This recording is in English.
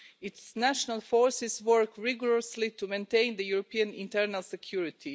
Its national forces work rigorously to maintain European internal security.